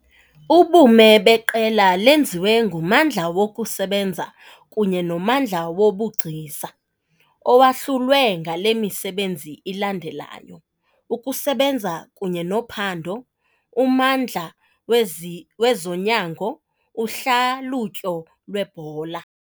Ubume beQela lenziwe nguMmandla wokuSebenza kunye noMmandla woBugcisa, owahlulwe ngale misebenzi ilandelayo - Ukusebenza kunye nophando, uMmandla wezi wezoNyango, uHlalutyo lweBhola.